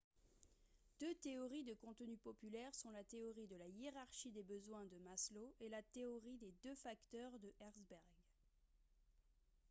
deux théories de contenu populaires sont la théorie de la hiérarchie des besoins de maslow et la théorie des deux facteurs de herzberg